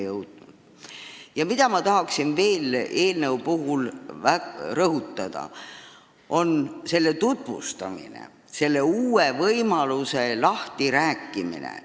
Ja see, mida ma tahan veel rõhutada, on selle eelnõu tutvustamine, uue võimaluse lahtirääkimine.